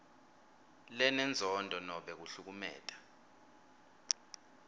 lenenzondo nobe kuhlukumeta